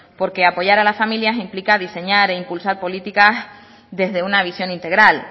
porque apoyar a la familia implica diseñar e impulsar política desde una visión integral